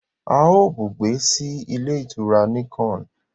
a yíò bùgbé sí Ilé-ìtura Nicon.